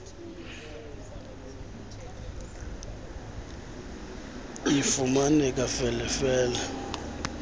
lifumaneka fele fele